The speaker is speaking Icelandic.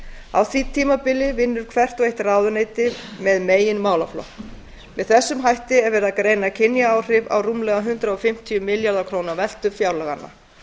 á því tímabili vinnur hvert og eitt ráðuneyti með megin málaflokk með þessum hætti er verið að greina kynjaáhrif af rúmlega hundrað fimmtíu milljarða króna veltu fjárlaganna